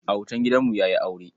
Autan gidanmu ya yi aure.